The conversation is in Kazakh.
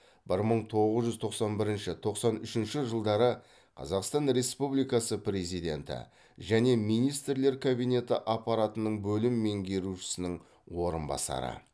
бір мың тоғыз жүз тоқсан бірінші тоқсан үшінші жылдары қазақстан республикасы президенті және министрлер кабинеті аппаратының бөлім меңгерушісінің орынбасары